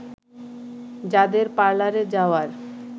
যাদের পার্লারে যাওয়ার